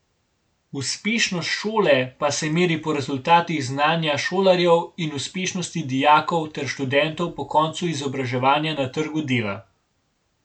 Uspešnost šole pa se meri po rezultatih znanja šolarjev in uspešnosti dijakov ter študentov po koncu izobraževanja na trgu dela.